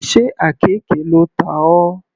Sé àkekè ló ta ọ.